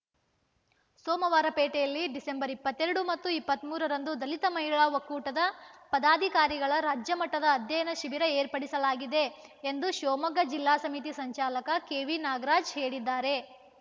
ಸೋಮವಾರಪೇಟೆಯಲ್ಲಿ December ಇಪ್ಪತ್ತೆರಡು ಮತ್ತು ಇಪ್ಪತ್ತ್ ಮೂರರಂದು ದಲಿತ ಮಹಿಳಾ ಒಕ್ಕೂಟದ ಪದಾಧಿಕಾರಿಗಳ ರಾಜ್ಯ ಮಟ್ಟದ ಅಧ್ಯಯನ ಶಿಬಿರ ಏರ್ಪಡಿಸಲಾಗಿದೆ ಎಂದು ಶಿವಮೊಗ್ಗ ಜಿಲ್ಲಾ ಸಮಿತಿ ಸಂಚಾಲಕ ಕೆವಿ ನಾಗರಾಜ್‌ ಹೇಳಿದ್ದಾರೆ